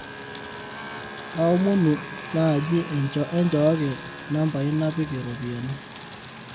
kaomonu naaji enchooki nambai naapiki ropiyani